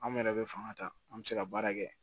Anw yɛrɛ bɛ fanga ta an bɛ se ka baara kɛ